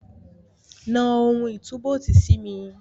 Na ohun ìtúbóòtì sí mi.